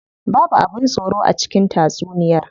Babu abin tsoro a cikin tatsuniyar.